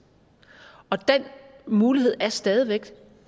den mulighed er stadig væk